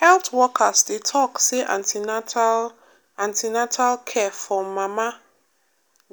health workers dey talk say an ten atal an ten atal care for mama